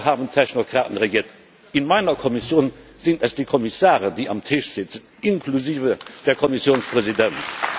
Früher haben Technokraten regiert, in meiner Kommission sind es die Kommissare, die am Tisch sitzen, inklusive des Kommissionspräsidenten.